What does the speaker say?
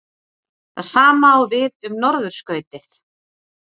Það sama á við um norðurskautið.